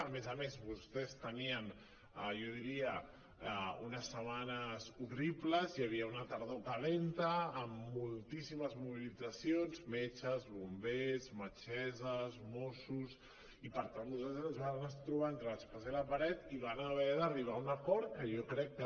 a més a més vostès tenien jo diria unes setmanes horribles hi havia una tardor calenta amb moltíssimes mobilitzacions metges bombers metgesses mossos i per tant vostès es van trobar entre l’espasa i la paret i van haver d’arribar a un acord que jo crec que